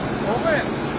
Hardan?